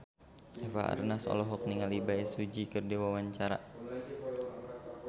Eva Arnaz olohok ningali Bae Su Ji keur diwawancara